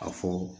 A fɔ